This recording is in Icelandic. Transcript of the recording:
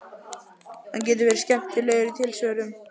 Hann getur verið skemmtilegur í tilsvörum